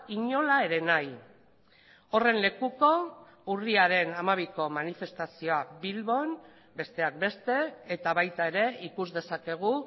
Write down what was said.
inola ere nahi horren lekuko urriaren hamabiko manifestazioa bilbon besteak beste eta baita ere ikus dezakegu